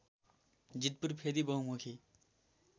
जीतपुर फेदी बहुमुखी